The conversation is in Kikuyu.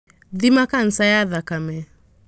Thima kanja ya thakame.